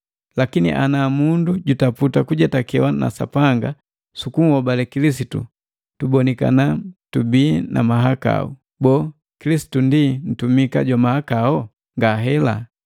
Lakini ana mu kutaputa kujetakewa na Sapanga sukunhobale Kilisitu, tubonikana tubii na mahakau, boo, Kilisitu ndi mtumika jwa mahakao? Ngahela!